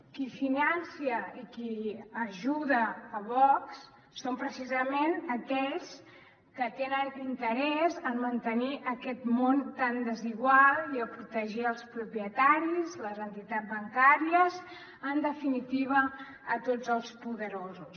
qui finança i qui ajuda vox són precisament aquells que tenen interès en mantenir aquest món tan desigual i protegir els propietaris les entitats bancàries en definitiva tots els poderosos